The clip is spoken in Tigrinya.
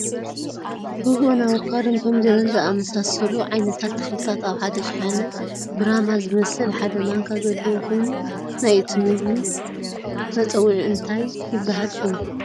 ርግኦን ኣቦካዶን ኮሚደረን ዝኣመሳሰሉ ዓይነታት ተክልታት ኣብ ሓደ ሽሓነ ብራማ ዝመስል ሓደ ማንካ ዘለዎ ኮይኑ ናይ እቱይ ምግቢ መፀውዒኡ እንታይ ይበሃል ሽሙ?